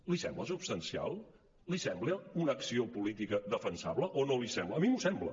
li sembla substancial li sembla una acció política defensable o no l’hi sembla a mi m’ho sembla